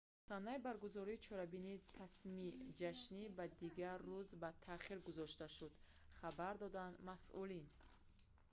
санаи баргузории чорабинии расмии ҷашнӣ ба дигар рӯз ба таъхир гузошта шуд хабар доданд масъулин